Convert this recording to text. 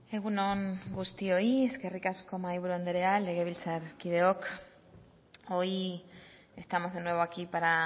egun on guztioi eskerrik asko mahaiburu andrea legebiltzarkideok hoy estamos de nuevo aquí para